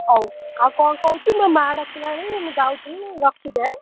ହଉ ଆଉ କଣ କହୁଛୁ? ମୋ ମାଆ ଡାକିଲାଣି ମୁଁ ଯାଉଛି ରଖିଦେ